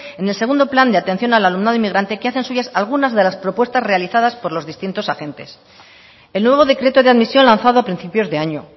en el segundo plan de atención al alumnado inmigrante que hacen suyas algunas de las propuestas realizadas por los distintos agentes el nuevo decreto de admisión lanzado a principios de año